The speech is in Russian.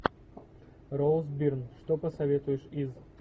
роуз бирн что посоветуешь из